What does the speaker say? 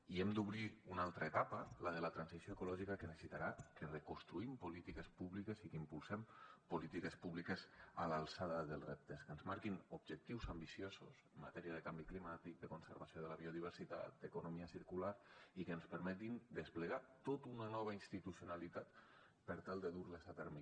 i hem d’obrir una altra etapa la de la transició ecològica que necessitarà que reconstruïm polítiques públiques i que impulsem polítiques públiques a l’alçada dels reptes que ens marquin objectius ambiciosos en matèria de canvi climàtic de conservació de la biodiversitat d’economia circular i que ens permetin desplegar tota una nova institucionalitat per tal de dur les a terme